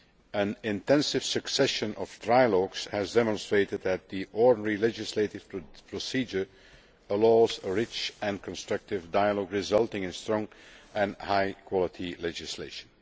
An intensive succession of trialogues has demonstrated that the ordinary legislative procedure allows a rich and constructive dialogue, resulting in strong and high quality legislation.